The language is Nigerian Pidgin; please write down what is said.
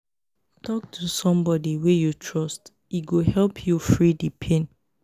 tok to somebodi wey you trust e go help you free di pain.